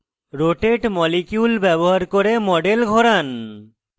rotate molecule bar করে model ঘোরান